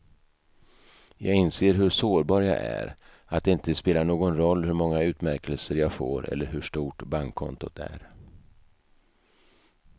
Jag inser hur sårbar jag är, att det inte spelar någon roll hur många utmärkelser jag får eller hur stort bankkontot är.